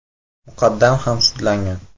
muqaddam ham sudlangan.